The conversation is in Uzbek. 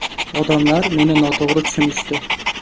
Odamlar meni noto‘g‘ri tushunishdi.